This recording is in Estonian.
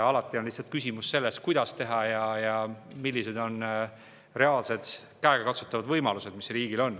Alati on küsimus selles, kuidas teha ja millised on riigi reaalsed, käegakatsutavad võimalused.